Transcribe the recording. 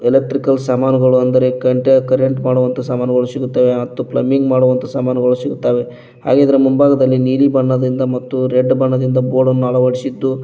electrical ಸಾಮಾನ್ಗಳು ಅಂದರೆ ಕಂಟ್ಯಾ ಕರೆಂಟ್ ಮಾಡುವಂತ ಸಾಮಾನ್ಗಳು ಸಿಗುತ್ತವೆ ಮತ್ತು ಪ್ಲಮ್ಮಿಂಗ್ ಮಾಡುವಂತ ಸಾಮಾನ್ಗಳು ಸಿಗುತ್ತವೆ ಹಾಗೆ ಇದರ ಮುಂಭಾಗದಲ್ಲಿ ನೀಲಿ ಬಣ್ಣದಿಂದ ಮತ್ತು ರೆಡ್ ಬಣ್ಣದಿಂದ ಬೋರ್ಡನ್ನು ಅಳವಡಿಸಿದ್ದು--